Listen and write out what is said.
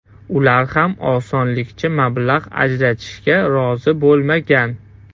Ular ham osonlikcha mablag‘ ajratishga rozi bo‘lmagan.